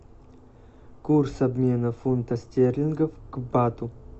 курс обмена фунта стерлингов к бату